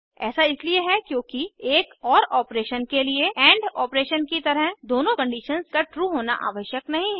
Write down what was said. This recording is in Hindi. ऐसा इसलिए होता है क्योंकि एक ओर ऑपरेशन के लिए एंड ऑपरेशन की तरह दोनों कंडीशन्स का ट्रू होना आवश्यक नहीं है